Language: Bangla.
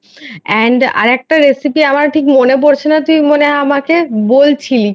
And আরেকটা Recipe আমার ঠিক মনে পড়ছে না তুই মনে হয় আমাকে বলছিলি